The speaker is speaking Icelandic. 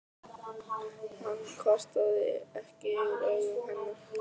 Hann kvartaði ekki yfir augum hennar.